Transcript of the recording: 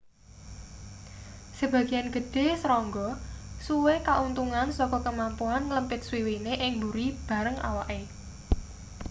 sebagean gedhe serangga suwe kauntungan saka kemampuan nglempit swiwine ing buri bareng awake